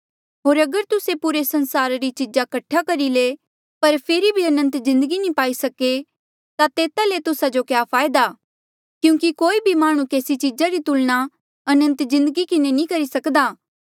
होर अगर तुस्से पूरे संसारा री चीज़ा कठा करी ले पर फेरी भी अनंत जिन्दगी नी पाई सके ता तेता ले तुस्सा जो क्या फायदा क्यूंकि कोई भी माह्णुं केसी चीजा री तुलना अनंत जिन्दगी किन्हें नी करी सक्दा